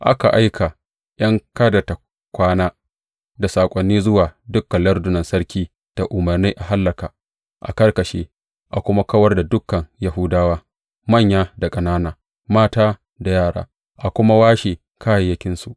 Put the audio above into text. Aka aika ’yan kada tă kwana da saƙoni zuwa dukan lardunan sarki da umarni a hallaka, a karkashe, a kuma kawar da dukan Yahudawa, manya da ƙanana, mata da yara, a kuma washe kayayyakinsu.